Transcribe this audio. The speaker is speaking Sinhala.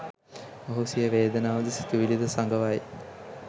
ඔහු සිය වේදනාව ද සිතුවිලි ද සඟවයි.